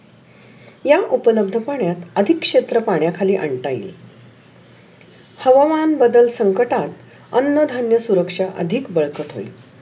या उपलब्ध पाण्यात अधिकार क्षेत्र पाण्याखाली आणता येईल. हवामान बदल संकटात अन्य धन्य सुरक्षा अधिक बरकत होइल.